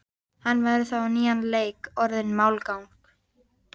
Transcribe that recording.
Hann væri þá á nýjan leik orðinn málgagn.